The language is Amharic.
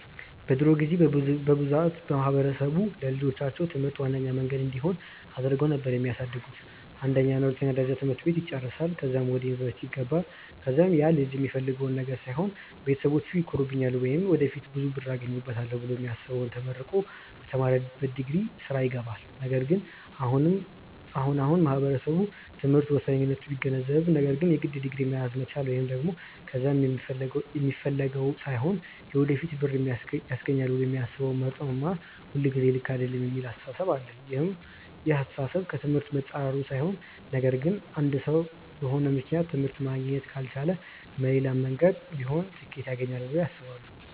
በድሮ ጊዜ በብዛት ማህበረሰብ ለልጆቻቸው ትምህርት ዋነኛ መንገድ እንዲሆን አድርገው ነበር የሚያሳድጉት፤ የአንደኛ እና የሁለተኛ ደረጃ ትምህርት ይጨረሳል ከዛም ወደ ዩኒቨርስቲ ይገባል ከዛም ያልጅ የሚፈልገውን ነገር ሳይሆን ቤተሰቢቼ ይኮሩብኛል ወይም ወደፊት ብዙ ብር አገኝበታለው ብሎ የሚያስበውን ተመርቆ በተማረበት ዲግሪ ስራ ይገባል። ነገር ግን አሁን አሁን ማህበረሰቡ ትምህርት ወሳኝነቱን ቢገነዘብም ነገር ግን የግድ ዲግሪ መያዝ መቻል ወይም ደግም ከያዘም የሚፈልገውን ሳይሆን ለወደፊት ብር ያስገኘኛል ብሎ የሚያስበውን መርጦ መማር ሁልጊዜ ልክ አይደለም የሚል አስተሳሰብ አለ። ይህ አስተሳሰብ ከ ትምህርት መፃረሩ ሳይሆን ነገር ግን አንድ ሰው በሆነ ምክንያት ትምህርት ማግኘት ካልቻለ መሌላም መንገድ ቢሆን ስኬት ያገኘዋል ብለው ያስባሉ።